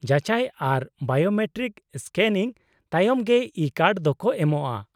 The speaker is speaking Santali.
-ᱡᱟᱪᱟᱭ ᱟᱨ ᱵᱟᱭᱳᱢᱮᱴᱨᱤᱠ ᱥᱠᱮᱱᱤᱝ ᱛᱟᱭᱚᱢ ᱜᱮ ᱤᱼᱠᱟᱨᱰ ᱫᱚᱠᱚ ᱮᱢᱚᱜᱼᱟ ᱾